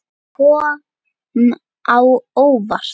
Kom á óvart.